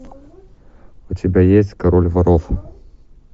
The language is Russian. у тебя есть король воров